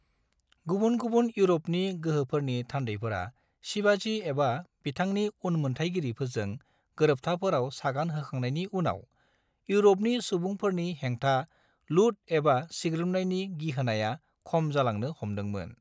गुबुन-गुबुन इउर'पनि गोहोफोरनि थान्दैफोरा शिवाजी एबा बिथांनि उनमोन्थायगिरिफोरजों गोरोबथाफोराव सागान होखांनायनि उनाव, इउर'पनि सुबुंफोरनि हेंथा लूट एबा सिग्रोमनायनि गिहोनाया खम जालांनो हमदोंमोन।